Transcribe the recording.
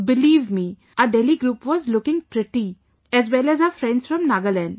Believe me, our Delhi group was looking pretty, as well as our friends from Nagaland